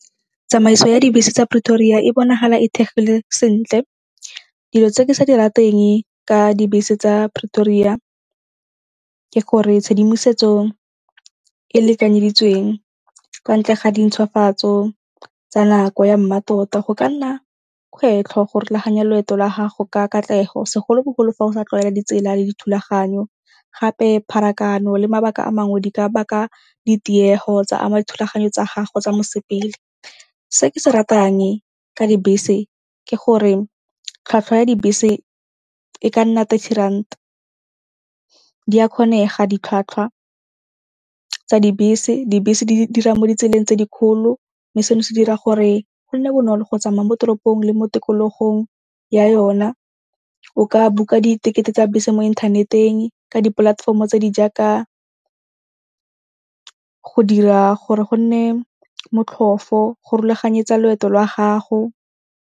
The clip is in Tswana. Tsamaiso ya dibese tsa Pretoria e bonagala e thegile sentle. Dilo tse ke sa di rateng ka dibese tsa Pretoria ke gore tshedimosetso e e lekanyeditsweng kwa ntle ga di ntshwafatso tsa nako ya mmatota go ka nna kgwetlho go rulaganya loeto la gago ka katlego segolobogolo fa o sa tlwaela ditsela le dithulaganyo gape pharakano le mabaka a mangwe di ka baka ditiego tsa ama dithulaganyo tsa gago tsa mosepele. Se ke se ratang ka dibese ke gore tlhwatlhwa ya dibese e ka nna thirty rand, di a kgonega ditlhwatlhwa tsa dibese. Dibese di dira mo ditseleng tse di kgolo mme seno se dira gore go nne bonolo go tsamaya mo toropong le mo tikologong ya yona. O ka book-a diketekete tsa bese mo inthaneteng ka dipolatefomo tse di jaaka go dira gore go nne motlhofo go rulaganyetsa loeto lwa gago.